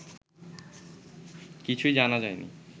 কিছুই জানা যায় নি